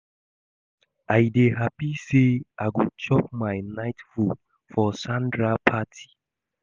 I dey happy say I go chop my night food for Sandra party